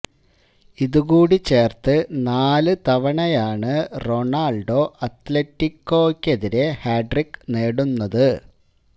ഇതും കൂടി ചേർത്ത് നാല് തവണയാണ് റൊണാൾഡോ അത്ലെറ്റിക്കോയ്ക്കെതിരെ ഹാട്രിക്ക് നേടുന്നത്